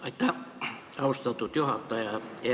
Aitäh, austatud juhataja!